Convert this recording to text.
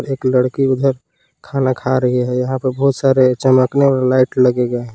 एक लड़की उधर खाना खा रही है यहां पे बहोत सारे चमकने वाले लाइट लगे गए हैं।